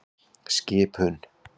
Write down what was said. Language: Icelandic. Skipum